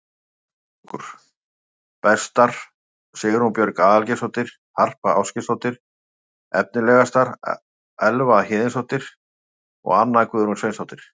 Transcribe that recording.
Völsungur: Bestar: Sigrún Björg Aðalgeirsdóttir og Harpa Ásgeirsdóttir Efnilegastar: Elva Héðinsdóttir og Anna Guðrún Sveinsdóttir